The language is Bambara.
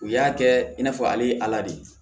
U y'a kɛ i n'a fɔ ale ye ala de ye